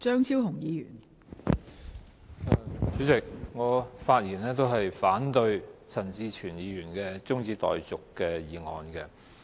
代理主席，我發言反對陳志全議員的中止待續議案。